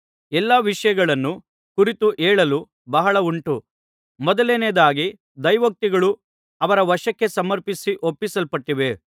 ಎಲ್ಲಾ ವಿಷಯಗಳನ್ನು ಕುರಿತು ಹೇಳಲು ಬಹಳ ಉಂಟು ಮೊದಲನೇಯದಾಗಿ ದೈವೋಕ್ತಿಗಳು ಅವರ ವಶಕ್ಕೆ ಸಮರ್ಪಿಸಿ ಒಪ್ಪಿಸಲ್ಪಟ್ಟಿವೆ